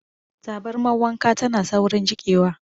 Tabarmar wanka tana saurin jiƙewa.